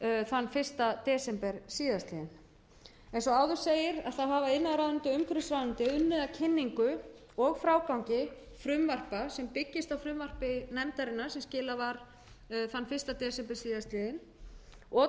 þann fyrsta desember síðastliðnum eins og áður segir hafa iðnaðarráðuneyti og umhverfisráðuneyti unnið að kynningu og frágangi frumvarpa sem byggjast á frumvarpi nefndarinnar sem skilað var þann fyrsta desember síðastliðinn og